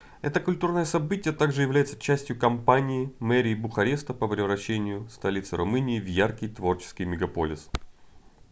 это культурное событие также является частью кампании мэрии бухареста по превращению столицы румынии в яркий творческий мегаполис